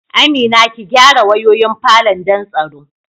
Amina, ki gyara wayoyin falon don tsaro